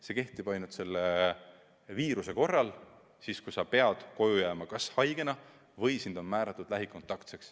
See kehtiks ainult selle viiruse korral ja siis, kui sa pead koju jääma kas haigena või sind on määratud lähikontaktseks.